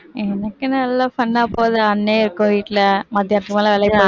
எனக்கும் நல்லா fun ஆ போது அண்ணன் இருக்கும் வீட்டில மத்தியானத்துக்கு மேல